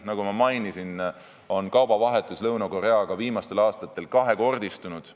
Nagu ma mainisin, on kaubavahetus Lõuna-Koreaga viimastel aastatel kahekordistunud.